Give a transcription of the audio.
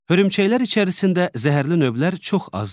Hörümçəklər içərisində zəhərli növlər çox azdır.